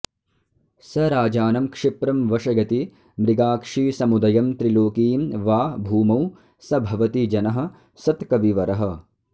स राजानं क्षिप्रं वशयति मृगाक्षीसमुदयं त्रिलोकीं वा भूमौ स भवति जनः सत्कविवरः